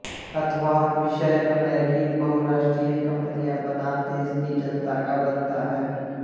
अथवा विषय अमेरिकी बहुराष्ट्रीय कंपनियां बनाम देश की जनता का बनता है